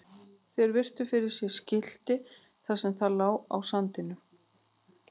Þeir virtu fyrir sér skiltið þar sem það lá á sandinum.